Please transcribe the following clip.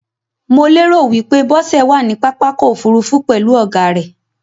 Mo lérò wípé Bósẹ̀ wàní pápákọ̀ ofúrufú pèlú ògá rẹ̀